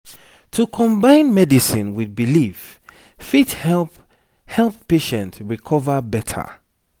to combine medicine with belief fit help help patient recover better.